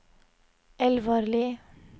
Elvarli